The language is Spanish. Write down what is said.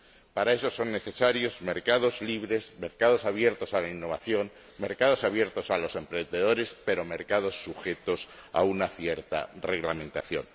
Para eso son necesarios mercados libres, mercados abiertos a la innovación, mercados abiertos a los emprendedores, pero mercados sujetos a una determinada reglamentación.